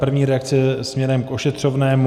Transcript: První reakce směrem k ošetřovnému.